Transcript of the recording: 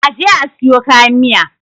a je a siyo kayan Miya!